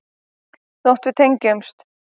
Þótt við tengjumst.